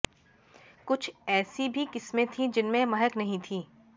कुछ ऐसी भी किस्में थीं जिनमें महक नहीं थी